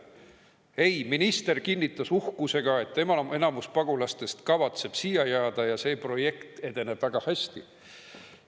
Ei, minister kinnitas uhkusega, et enamik pagulastest kavatseb siia jääda ja see projekt edeneb väga hästi.